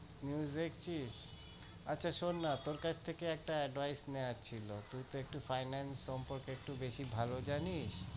News দেখছিস, আচ্ছা শুন না তোর কাছ থেকে একটা advice নেওয়ার ছিলো, তুই তো একটু finance সম্পর্কে একটু ভালো জানিস,